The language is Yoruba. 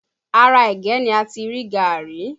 Ara ẹ̀gẹ́ ni ati rí gàárì